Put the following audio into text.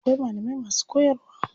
Akwai malamai masu koyarwa.